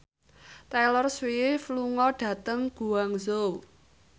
Taylor Swift lunga dhateng Guangzhou